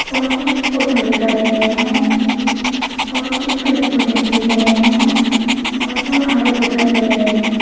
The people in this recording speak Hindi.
और कुछ ऑटो भी खड़े हुए हैं और कुछ पेड़ पौधे भी दिख रहे हैं और जो हरे दिखाई दे रहे हैं।